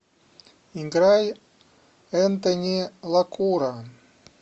играй энтони лакура